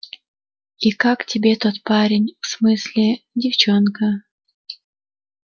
и как тебе тот парень в смысле девчонка